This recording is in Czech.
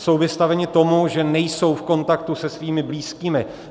Jsou vystaveni tomu, že nejsou v kontaktu se svými blízkými.